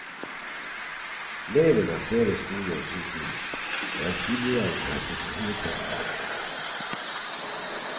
Leiren har flere skoler og sykehus, og eksilregjeringen har sitt hovedsete der.